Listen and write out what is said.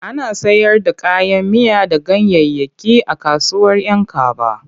Ana sayar da kayan miya da ganyayyaki a kasuwar 'Yankaba.